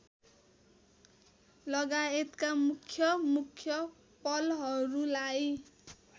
लगायतका मुख्यमुख्य पलहरुलाई